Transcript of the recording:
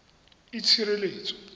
itshireletso